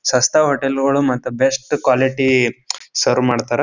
ಸಸ್ತಾ ಹೋಟೆಲ್ ಗಳು ಮತ್ತ್ ಬೆಸ್ಟ್ ಕ್ವಾಲಿಟಿ ಸರ್ವ್ ಮಾಡ್ತಾರ.